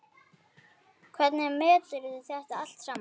Hvernig meturðu þetta allt saman?